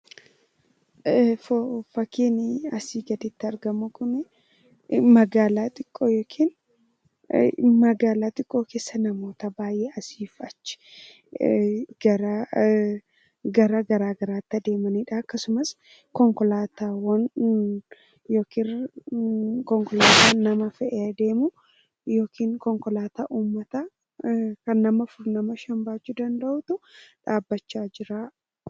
Fakkiin asii gaditti argamu kun magaalaa xiqqoo yookiin magaalaa xiqqoo keessa namoota asii fi achi gara garaagaraatti adeemanidha akkasumas konkolaataawwan yookiin konkolaataan lama ta'ee adeemu kan nama afur shan baachuu danda'u ta'ee dhaabbachaa jira.